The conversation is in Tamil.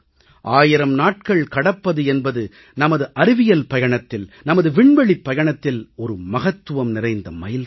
1000 நாட்கள் கடப்பது என்பது நமது அறிவியல் பயணத்தில் நமது விண்வெளிப் பயணத்தில் ஒரு மகத்துவம் நிறைந்த மைல்கல்